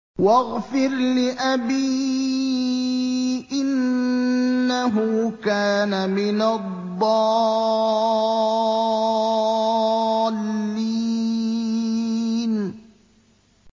وَاغْفِرْ لِأَبِي إِنَّهُ كَانَ مِنَ الضَّالِّينَ